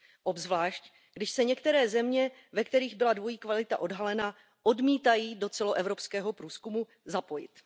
Obzvláště, když se některé země, ve kterých byla dvojí kvalita odhalena, odmítají do celoevropského průzkumu zapojit.